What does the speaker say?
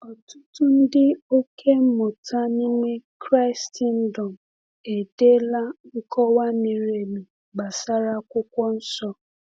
Ọtụtụ ndị ọkà mmụta n’ime Kraịstndọm edeela nkọwa miri emi gbasara Akwụkwọ Nsọ.